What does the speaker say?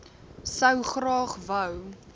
sou graag wou